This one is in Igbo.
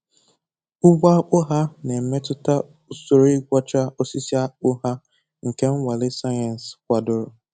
Ugbo akpụ ha na-emetụta usoro igwọcha osisi akpụ ha nke nnwale sayensị kwadoro